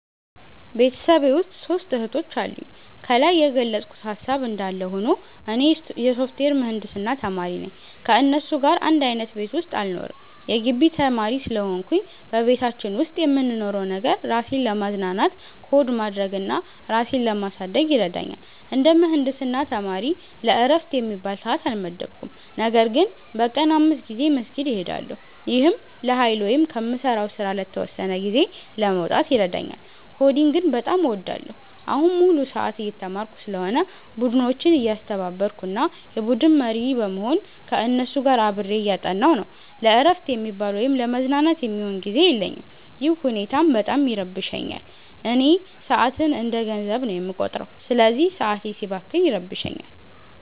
ቤተሰቤ ውስጥ ሦስት እህቶች አሉኝ። ከላይ የገለጽኩት ሃሳብ እንዳለ ሆኖ፣ እኔ የሶፍትዌር ምህንድስና ተማሪ ነኝ። ከእነሱ ጋር አንድ አይነት ቤት ውስጥ አልኖርም የጊቢ ተማሪ ስለሆንኩኝ። በቤታችን ውስጥ የምንኖረው ነገር፣ ራሴን ለማዝናናት ኮድ ማድረግ እና ራሴን ለማሳደግ ይረዳኛል። እንደ ምህንድስና ተማሪ ለዕረፍት የሚባል ሰዓት አልመደብኩም፤ ነገር ግን በቀን 5 ጊዜ መስጊድ እሄዳለሁ። ይህም ለኃይል ወይም ከምሠራው ሥራ ለተወሰነ ጊዜ ለመውጣት ይረዳኛል። ኮዲንግን በጣም እወዳለሁ። አሁን ሙሉ ሰዓት እየተማርኩ ስለሆነ፣ ቡድኖችን እያስተባበርኩ እና የቡድን መሪ በመሆን ከእነሱ ጋር አብሬ እያጠናሁ ነው። ለዕረፍት የሚባል ወይም ለመዝናናት የሚሆን ጊዜ የለኝም፤ ይህ ሁኔታም በጣም ይረብሸኛል። እኔ ሰዓትን እንደ ገንዘብ ነው የምቆጥረው፤ ስለዚህ ሰዓቴ ሲባክን ይረብሸኛል